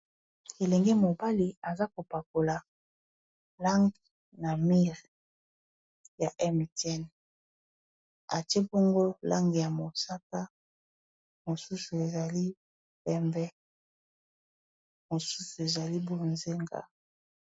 Elenge mobali aza kopakola langi na mire ya Mtn atie bongo langi ya mosaka mosusu ezali pembe mosusu ezali bonzenga.